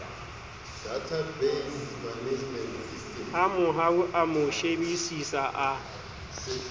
hamohau a mo shebisisa a